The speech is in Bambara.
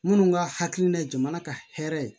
Minnu ka hakilina ye jamana ka hɛrɛ ye